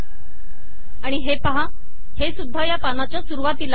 आणि हे पहा हे सुध्दा या पानाच्या सुरूवातीला आले आहे